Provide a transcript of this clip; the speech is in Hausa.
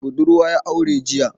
Budurwa ya aure jiya.